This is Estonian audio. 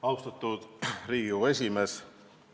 Austatud Riigikogu esimees!